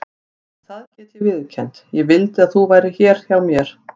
En það get ég viðurkennt: ég vildi að þú værir hér hjá mér.